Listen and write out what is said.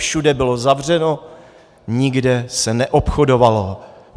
Všude bylo zavřeno, nikde se neobchodovalo.